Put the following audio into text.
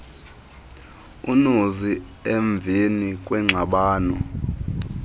unozi emveni kwengxabano